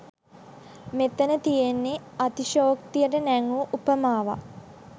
මෙතැන තියෙන්නේ අතිශයෝක්තියට නැංවූ උපමාවක්.